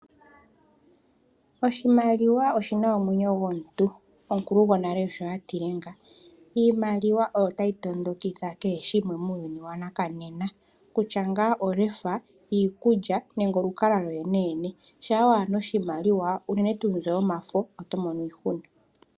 Oshimaliwa oshina omwenyo gomuntu omukulu go nale osho atile nga. Iimaliwa oyo tayi tondokitha kehe shimwe muuyuni wanakanena kutua nga olefa, iikulya nenge olukalwa lwo lwene shampa kuna oshimaliwa uunene tuu mbyoka yomafo oto mono iihuna.